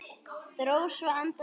Dró svo andann djúpt.